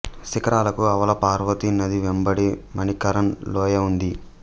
శిఖరాలకు ఆవల పార్వతి నది వెంబడి మణికరన్ లోయ ఉంది